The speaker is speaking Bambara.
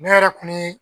Ne yɛrɛ kun mi